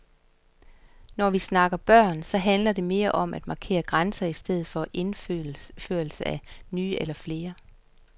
Når vi snakker børn, så handler det mere om at markere grænser i stedet for indførelse af nye, eller flere.